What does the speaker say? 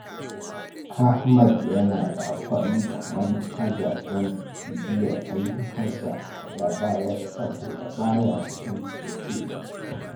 Ahmad yana amfani da manhaja don bibiyar ayyukansa da ya bayar saboda ba ya son jinkiri.